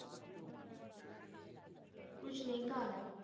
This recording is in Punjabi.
ਕੁਛ ਨਹੀਂ ਘਰ ਹੈ